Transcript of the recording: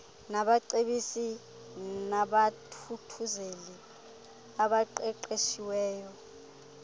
nabacebisi nabathuthuzeli abaqeqeshiweyo